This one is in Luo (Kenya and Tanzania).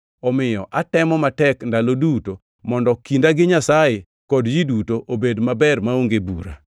Omiyo atemo matek ndalo duto mondo kinda gi Nyasaye kod ji duto obed maber maonge bura.